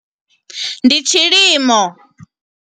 Ndi tshilimo.